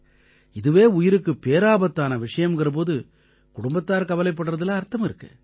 இதுவே உயிருக்குப் பேராபத்தான விஷயம்ங்கற போது குடும்பத்தார் கவலைப்படுறதுல அர்த்தம் இருக்கு